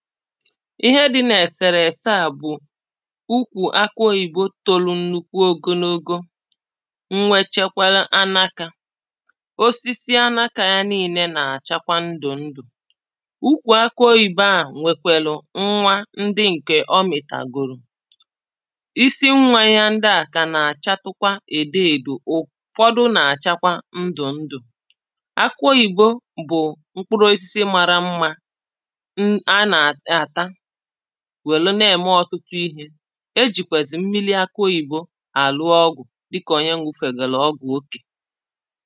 ihe dị̄ n’èsèrèse à bụ̀ ukwù akụ oyìbo tolu nnukwu ogonogo nnwechekwara anakā osisi anakā ya niīnē nà-àchakwa ndụ̀ ndụ̀ ukwù akụ oyìbo a ̀nwèkwèlụ̀ nwa ndị ǹkè ọ mị̀tàgòlù isi nwā yā ndịà kà nà-àchatụkwa edó èdò ụ̀fọdụ nà-àchakwa ndụ̀ndụ̀ akụ oyìbo bụ̀ mkpụrụ osisi mara mmā n a nà-àtá wèru na-ème ọ̀tụtụ ihē ejìkwèzị̀ mmiri akụ oyìbo àlụ ọgwụ̀ dịkà onye ṅụfègòlù ọgwụ̀ okè